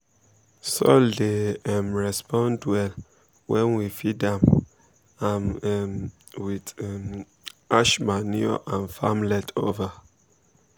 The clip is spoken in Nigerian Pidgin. soil dey um respond well when we feed am am um with um ash manure and farm leftover.